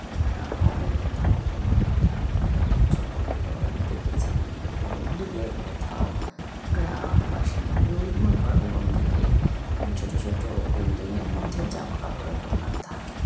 এটা হবে কোথাও কোনো একটা ছোট খাটো আমি দেখছি একটু দূরের কোথাও গ্রাম বাসির লোক ওরম দিকে এরম ছোট ছোট বিল্ডিং - এর মধ্যে জামাকাপড়- এর দোকান থাকে।